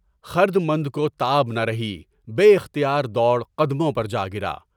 خردمند کو تاب نہ رہی، بے اختیار دوڑ قدموں پر جا گرا۔